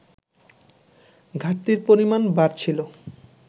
ঘাটতির পরিমাণ বাড়ছিল